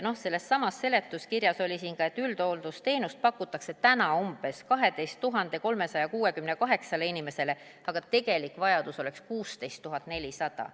Sellessamas seletuskirjas oli ka, et üldhooldusteenust pakutakse täna 12 368 inimesele, aga tegelik vajadus oleks 16 400.